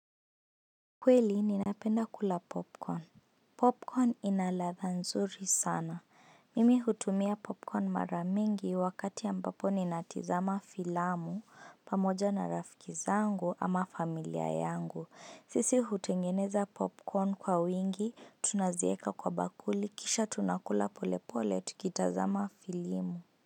Kweli ninapenda kula popcorn. Popcorn ina ladha nzuri sana. Mimi utumia popcorn mara mingi wakati ambapo ninatizama filamu pamoja na rafiki zangu ama familia yangu. Sisi hutengeneza popcorn kwa wingi tunazieka kwa bakuli kisha tunakula polepole tukitazama filimu.